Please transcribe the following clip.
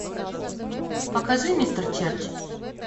покажи мистер черч